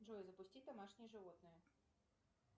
джой запусти домашнее животное